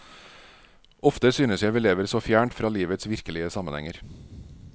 Ofte synes jeg vi lever så fjernt fra livets virkelige sammenhenger.